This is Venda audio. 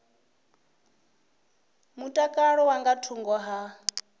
mutakalo dza nga thungo ha